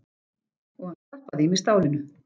Og hann stappaði í mig stálinu.